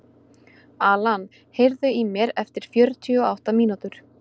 Alan, heyrðu í mér eftir fjörutíu og átta mínútur.